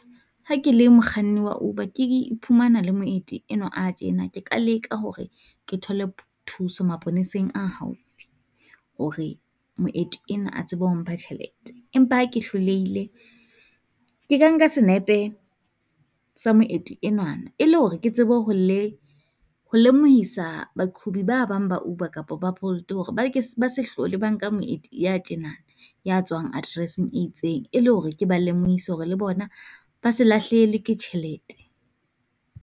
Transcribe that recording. Ha ke le mokganni wa Uber ke iphumana le moeti enwa a tjena, ke ka leka hore ke thole thuso maponeseng a haufi. Hore moeti ena a tsebe ho mpha tjhelete, empa ha ke hlolehile ke ka nka senepe se moeti enwana e le hore ke tsebe ho le ho lemohisa baqhubi ba bang ba Uber kapo ba Bolt hore ba ke ba se hlole ba nka moeti ya tjena. Ya tswang address-eng e itseng, e le hore ke ba lemohisa hore le bona ba se lahlehelwe ke tjhelete.